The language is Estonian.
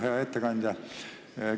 Hea ettekandja!